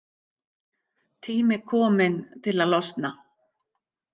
Tími kominn til að losna.